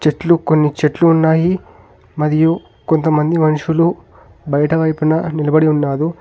ఎట్లు కొన్ని చెట్లు ఉన్నాయి మరియు కొంతమంది మనుషులు బయటవైపున నిలబడి ఉన్నాదు .